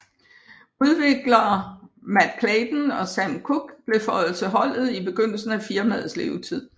Udviklere Mat Clayton og Sam Cooke blev føjet til holdet i begyndelsen af firmaets levetid